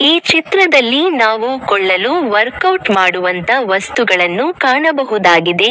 ಈ ಚಿತ್ರದಲ್ಲಿ ನಾವುಕೊಳ್ಳಲು ವರ್ಕೌಟ್ ಮಾಡುವಂತ ವಸ್ತುಗಳನ್ನು ಕಾಣಬಹುದಾಗಿದೆ.